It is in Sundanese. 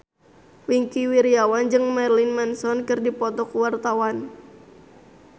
Wingky Wiryawan jeung Marilyn Manson keur dipoto ku wartawan